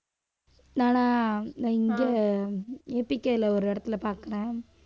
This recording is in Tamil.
நானா நான் இங்க ஏ பி கேல ஒரு இடத்தில பாக்குறேன்.